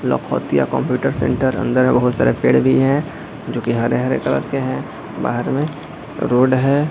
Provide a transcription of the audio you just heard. लोखोतिया computer centre है बहुत सारे पेड़ भी हैजो के हरे-हरे कलर के हैंबाहर में रोड है।